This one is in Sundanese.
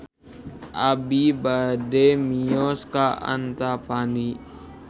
Abi bade mios ka Antapani